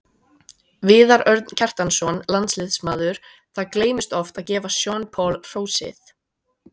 Viðar Örn Kjartansson, landsliðsmaður Það gleymist oft að gefa Sean Paul hrósið.